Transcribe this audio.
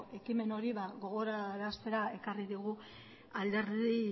ekimen hori gogoraraztera ekarri digu alderdi